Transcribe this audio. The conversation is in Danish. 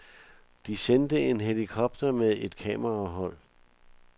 De sendte en helikopter med et kamerahold.